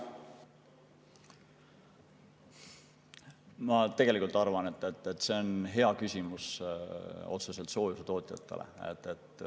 Ma arvan, et see on hea küsimus otseselt soojusetootjatele.